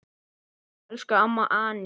Elsku amma Anney.